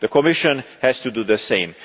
The Commission has to do the same.